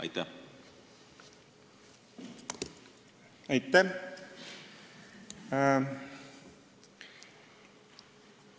Aitäh!